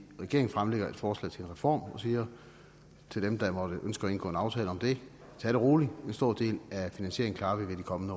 at regeringen fremlægger et forslag til en reform og siger til dem der måtte ønske at indgå en aftale om det tag det roligt en stor del af finansieringen klarer vi ved de kommende